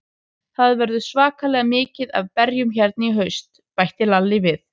Það verður svakalega mikið af berjum hérna í haust, bætti Lalli við.